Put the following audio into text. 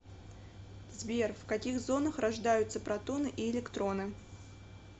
сбер в каких зонах рождаются протоны и электроны